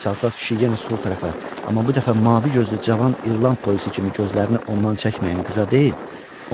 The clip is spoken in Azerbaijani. Çalsaz kişi yenə sol tərəfə, amma bu dəfə mavi gözlü cavan İrland polisi kimi gözlərini ondan çəkməyən qıza deyil,